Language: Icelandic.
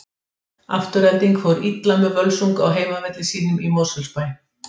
Afturelding fór illa með Völsung á heimavelli sínum í Mosfellsbæ.